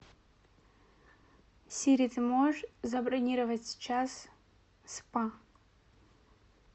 сири ты можешь забронировать сейчас спа